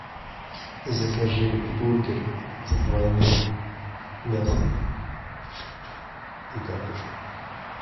закажи бургер с двойным мясом и картошкой